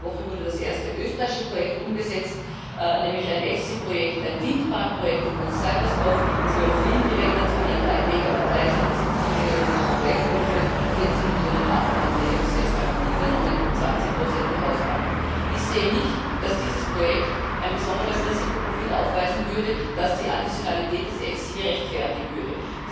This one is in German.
Erst letzte Woche wurde das erste österreichische Projekt umgesetzt, nämlich ein EFSI Projekt, ein Windparkprojekt in Hof Seibersdorf, zwölf Windräder zu je drei Megawatt Leistung, 70 Millionen Euro Projektvolumen, 40 Millionen davon hat der EFSI als Garantie übernommen, 20 die Hausbank. Ich sehe nicht, dass dieses Projekt ein besonderes Risikoprofil aufweisen würde, das die Additionalität des EFSI rechtfertigen würde.